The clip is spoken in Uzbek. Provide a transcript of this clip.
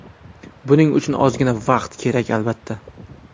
Buning uchun ozgina vaqt kerak, albatta.